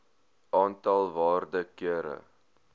aantal waarde kere